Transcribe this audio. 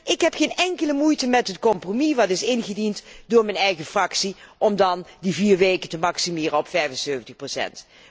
Ik heb geen enkele moeite met het compromis dat is ingediend door mijn eigen fractie, om die vier weken te maximeren op 75 procent.